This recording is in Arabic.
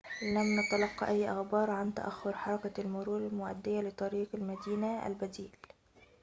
لم نتلق أي أخبار عن تأخر حركة المرور المؤدية لطريق المدينة البديل